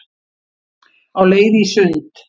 Á leið í sund